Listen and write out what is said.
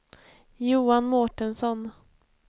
Johan Mårtensson